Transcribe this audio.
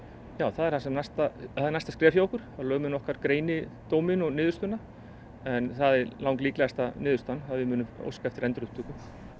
það er næsta er næsta skref hjá okkur að lögmenn okkar greini dóminn og niðurstöðuna en það er langlíklegasta niðurstaðan að við óskum eftir endurupptöku